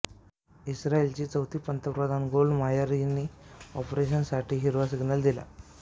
इस्रायलची चौथी पंतप्रधान Golda Meir यांनी ऑपरेशनसाठी हिरवा सिग्नल दिला